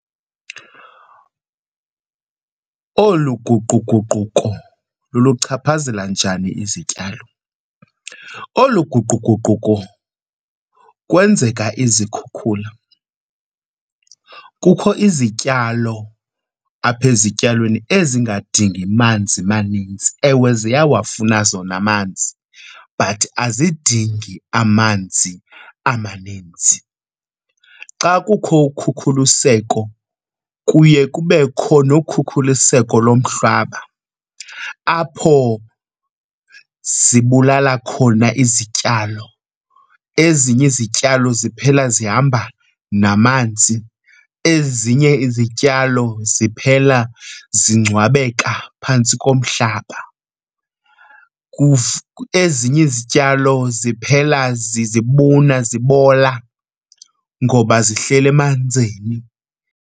Olu guquguquko luluchaphazela njani izityalo? Olu guquguquko kwenzeka izikhukhula. Kukho izityalo apha ezityalweni ezingadingi manzi maninzi. Ewe, ziyawafuna zona amanzi but azidingi amanzi amaninzi. Xa kukho ukhukhuliseko kuye kubekho nokukhuliseko lomhlaba apho zibulala khona izityalo. Ezinye izityalo ziphela zihamba namanzi, ezinye izityalo ziphela zingcwabeka phantsi komhlaba, ezinye izityalo ziphela zibuna zibola ngoba zihleli emanzini.